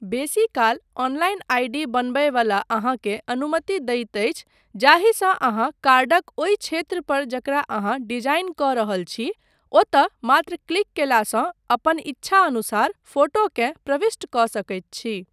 बेसीकाल, online ID. बनबय वला अहाँकें अनुमति दैत अछि जाहिसँ अहाँ कार्डक ओहि क्षेत्र पर जकरा अहाँ डिजाईन कऽ रहल छी ओतय मात्र क्लिक कयलासँ अपन ईच्छानुसार फोटोकेँ प्रविष्ट कऽ सकैत छी।